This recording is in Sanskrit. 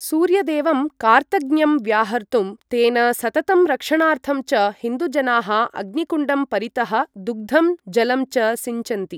सूर्यदेवं कार्तज्ञ्यं व्याहर्तुं, तेन सततं रक्षणार्थं च हिन्दुजनाः अग्निकुण्डं परितः दुग्धं जलं च सिञ्चन्ति।